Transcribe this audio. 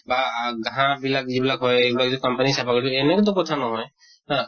বা আ ঘাঁহ বিলাক যিবিলাক হয়, সেইবিলাক যদি company য়ে চাফা কৰিছে, এনেকা তো কথা নহয় হা